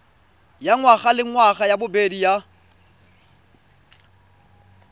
ya ngwagalengwaga ya bobedi ya